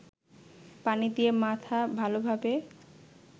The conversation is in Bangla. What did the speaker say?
পানি দিয়ে মাথা ভালোভাবে